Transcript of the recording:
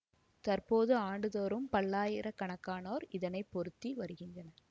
தற்போது ஆண்டுதோறும் பல்லாயிர கணக்கானோர் இதனை பொருத்தி வருகின்றனர்